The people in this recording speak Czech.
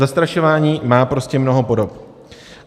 Zastrašování má prostě mnoho podob.